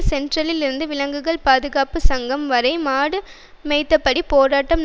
சென்ட்ரலிலிருந்து விலங்குகள் பாதுகாப்பு சங்கம் வரை மாடு மேய்த்தபடி போராட்டம்